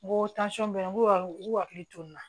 N ko n k'u ka u k'u hakili to n na